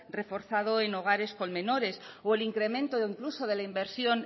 reforzado en hogares con menores o el incremento incluso de la inversión